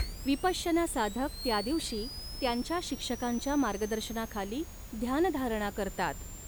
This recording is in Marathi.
विपश्यना साधक त्या दिवशी त्यांच्या शिक्षकांच्या मार्गदर्शनाखाली ध्यानधारणा करतात.